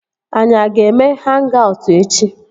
Anyị a ga-eme hang-aut echi?